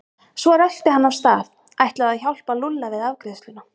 Svo rölti hann af stað, ætlaði að hjálpa Lúlla við afgreiðsluna.